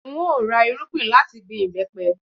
N óò ra irúgbìn láti gbin ìbẹ́pẹ